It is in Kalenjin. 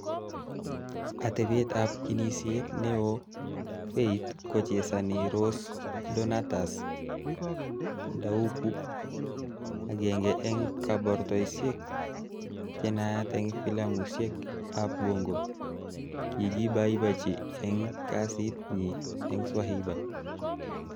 Atebeet ap kinisyet neoo faith kochesani Rose Donatus Ndauku- agenge eng' kabartoisiek chenaat eng' filamushek ap bongo; kigibaibaichi eng' kasiit nyi eng 'Swahiba'.